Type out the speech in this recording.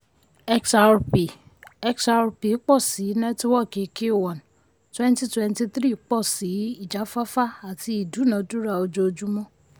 xrp xrp pọ̀ sí nẹ́tíwọ́kì q one twenty twenty three pọ̀ sí ijafafa àti ìdúnádúrà ojoojúmọ́.